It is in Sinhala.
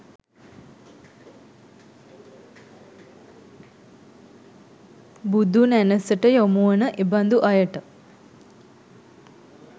බුදුනැණැසට යොමු වන එබඳු අයට